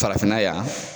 Farafinna yan